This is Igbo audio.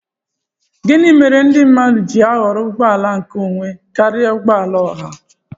Gịnị méré ndị mmadụ ji ahọrọ ụgbọ àlà nké ònwé karịa ụgbọala ọhà?